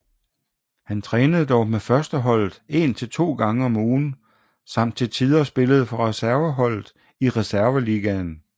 Han trænede dog med førsteholdet en til to gange om ugen samt til tider spillede for reserveholdet i Reserveligaen